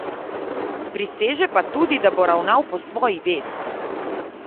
Priseže pa tudi, da bo ravnal po svoji vesti.